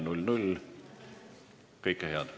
Istungi lõpp kell 17.38.